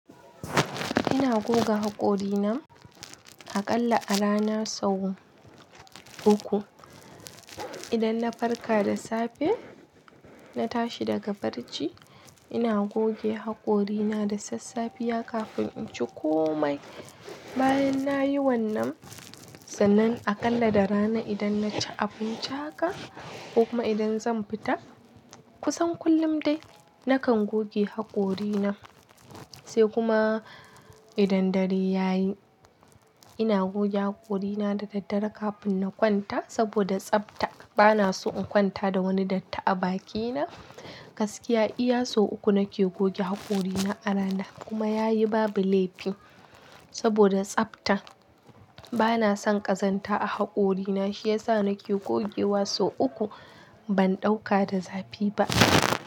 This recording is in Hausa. Ina goga haƙorina aƙalla a rana sau uku. Idan na farka da safe, na tashi daga barci, ina goge haƙorina da sassafiya kafin in ci komai. Bayan nayi wannan, sannan aƙalla da rana idan naci abinci haka ko kuma idan zan fita. Kusan kullum dai nakan goge haƙorina, sai kuma idan dare ya yi ina goge haƙorina da daddare kafin na kwanta saboda tsafta. Bana so in kwanta da wani datti a bakina. Gaskiya iya sau uku nake goge haƙorina a rana kuma yayi babu laifi saboda tsafta. Bana son ƙazanta a haƙorina shiyasa nake gogewa sau uku ban ɗauka da zafi ba.